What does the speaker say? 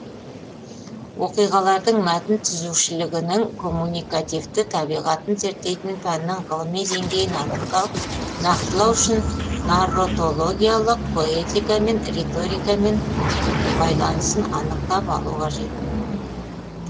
оқиғалардың мәтін түзушілігінің коммуникативті табиғатын зерттейтін пәннің ғылыми деңгейін нақтылау үшін нарратологиялық поэтикамен және риторикамен байланысын анықтап алу қажет